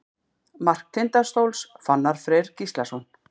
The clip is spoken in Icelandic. Mark Tindastóls: Fannar Freyr Gíslason.